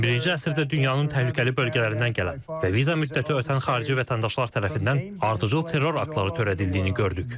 21-ci əsrdə dünyanın təhlükəli bölgələrindən gələn və viza müddəti ötən xarici vətəndaşlar tərəfindən ardıcıl terror aktları törədildiyini gördük.